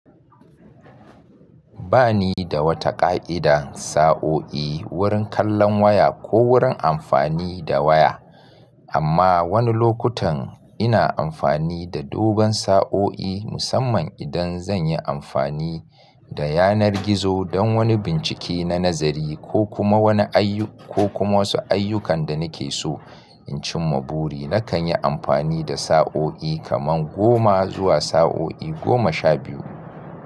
Ba ni da wata ƙa'ida sa'o'i wurin kallon waya ko wurin amfani da waya, amma wani lokutan ina amfani da dogon sa'o'i musamman idan zan yi amfani da yanar gizo don wani bincike na nazari ko kuma wani ayyu- ko kuma wasu ayyukan da nake so. In cimma buri, nakan yi amfani da sa'o'i kamar goma zuwa sa'o'i goma sha biyu.